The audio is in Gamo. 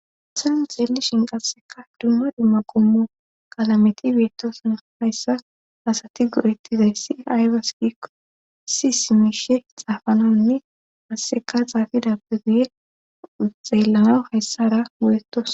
Asann xeellishin qasseka hidumma di ma qommo kalameti beettosuna hayssa asati gorettizay si aybas gikko si simishe xaafananne asseka xaafidappe guye xeellamaw hayssara go7ettos